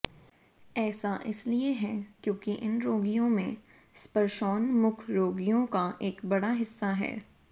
ऐसा इसलिए है क्योंकि इन रोगियों में स्पर्शोन्मुख रोगियों का एक बड़ा हिस्सा है